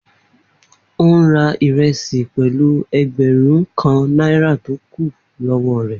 On ra iresi pẹlu ẹẹgbẹrun kan naira to kun lọwọ rẹ.